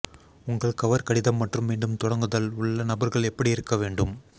உங்கள் கவர் கடிதம் மற்றும் மீண்டும் தொடங்குதல் உள்ள நபர்கள் எப்படி இருக்க வேண்டும்